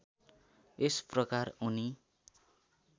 यस प्रकार उनी